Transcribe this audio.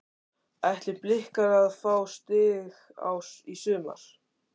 Ætla blikar að fá stig í sumar?